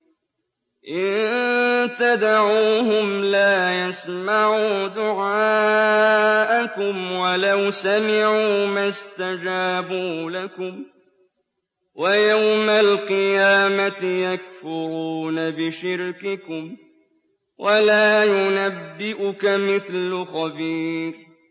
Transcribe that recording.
إِن تَدْعُوهُمْ لَا يَسْمَعُوا دُعَاءَكُمْ وَلَوْ سَمِعُوا مَا اسْتَجَابُوا لَكُمْ ۖ وَيَوْمَ الْقِيَامَةِ يَكْفُرُونَ بِشِرْكِكُمْ ۚ وَلَا يُنَبِّئُكَ مِثْلُ خَبِيرٍ